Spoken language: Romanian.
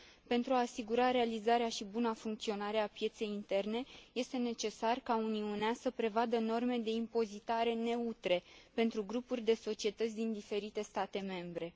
Pentru a asigura realizarea și buna funcționare a pieței interne, este necesar ca Uniunea să prevadă norme de impozitare neutre pentru grupuri de societăți din diferite state membre.